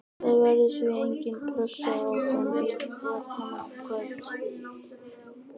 Það verður því engin pressa á þeim í leiknum í kvöld.